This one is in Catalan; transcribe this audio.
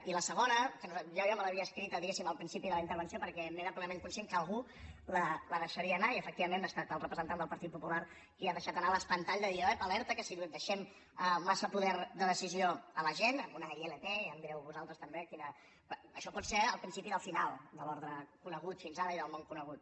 i la segona que jo ja me l’havia escrita diguem ne al principi de la intervenció perquè era plenament conscient que algú la deixaria anar i efectivament ha estat el representant del partit popular qui ha deixat anar l’espantall de dir ep alerta que si deixem massa poder de decisió a la gent una ilp em direu vosaltres també això pot ser el principi del final de l’ordre conegut fins ara i del món conegut